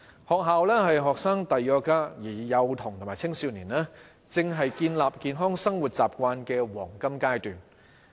學校是學生的第二個家，而幼童及青少年，正是建立健康生活習慣的黃金階段。